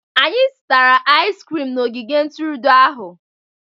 Anyị zụtara aizi krim n'ogige ntụrụndụ ahụ